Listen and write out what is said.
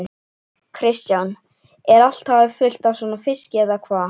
Kristján: Er allt hafið fullt af svona fiski eða hvað?